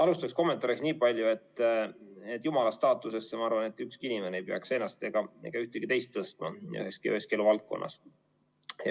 Alustuseks kommentaariks niipalju, et jumala staatusesse, ma arvan, ei peaks ükski inimene ennast ega kedagi teist üheski eluvaldkonnas tõstma.